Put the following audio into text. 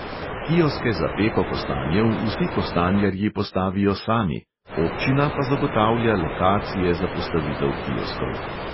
Kioske za peko kostanjev vsi kostanjarji postavijo sami, občina pa zagotavlja lokacije za postavitev kioskov.